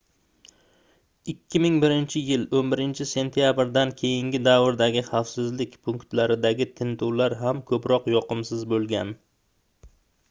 2001-yil 11-sentyabrdan keyingi davrdagi xavfsizlik punktlaridagi tintuvlar ham koʻproq yoqimsiz boʻlgan